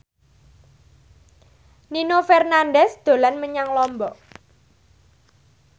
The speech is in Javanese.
Nino Fernandez dolan menyang Lombok